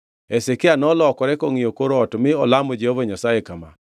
Hezekia nolokore kongʼiyo kor ot mi olamo Jehova Nyasaye kama.